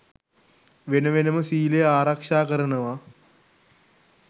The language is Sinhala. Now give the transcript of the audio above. වෙන වෙනම සීලය ආරක්ෂා කරනව